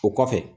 O kɔfɛ